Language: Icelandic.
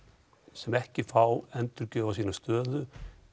sem ekki fá endurgjöf á sinni stöðu